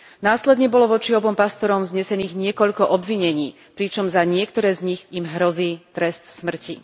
Následne bolo voči obom pastorom vznesených niekoľko obvinení, pričom za niektoré z nich im hrozí trest smrti.